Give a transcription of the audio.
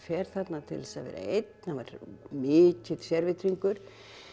fer þarna til þess að vera einn hann var mikill sérvitringur